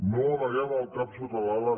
no amaguem el cap sota l’ala